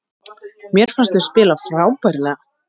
Mér fannst við spila frábærlega